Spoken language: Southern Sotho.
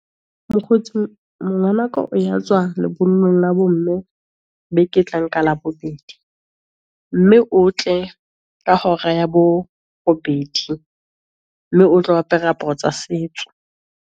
Mokgotsi ngwanaka o ya tswa lebollong la bo mme beke e tlang ka Labobedi, mme o tle ka hora ya bo robedi, mme o tlo apere aparo tsa setso.